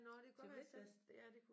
Til midtvest